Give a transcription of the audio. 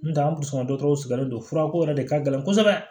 N tɛ an kun sɔnna dɔgɔtɔrɔw sigilen don furako yɛrɛ de ka gɛlɛn kosɛbɛ